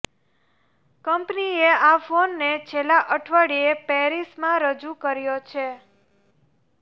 કંપનીએ આ ફોનને છેલ્લા અઠવાડિયે પેરિસમાં રજૂ કર્યો છે